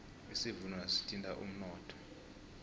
isivuno naso sithinta umnotho